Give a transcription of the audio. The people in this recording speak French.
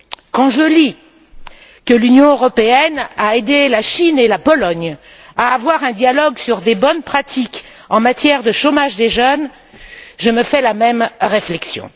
Quand je lis que l'Union européenne a aidé la Chine et la Pologne à avoir un dialogue sur des bonnes pratiques en matière de chômage des jeunes, je me fais la même réflexion.